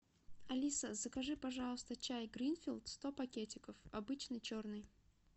алиса закажи пожалуйста чай гринфилд сто пакетиков обычный черный